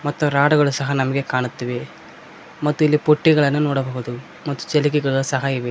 ತು ರಾಡ್ ಗಳು ಸಹ ನಮ್ಗೆ ಕಾಣುತ್ತಿವೆ ಮತ್ತು ಇಲ್ಲಿ ಬುಟ್ಟಿಗಳನ್ನು ನೋಡಬಹುದು ಮತ್ತು ಚಿಲಿಕೆಗಳು ಸಹ ಇವೆ.